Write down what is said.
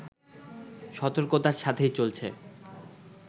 সতর্কতার সাথেই চলছে